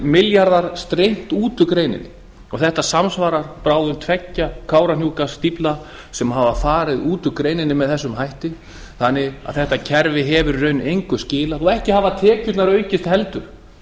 milljarðar steymt út úr greininni og þetta samsvarar bráðum tveimur kárahnjúkastíflum sem hafa farið út úr greininni með þessum hætti þannig að þetta kerfi hefur í raun engu skilað og ekki hafa tekjurnar aukist heldur